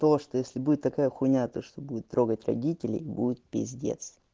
что если будет такая хуйня то что будет трогать родителей будет пиздец